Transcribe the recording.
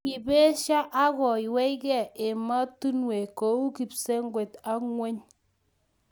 kibesyo akuywei gei emotinwek kou kipsengwet ak ng'weny.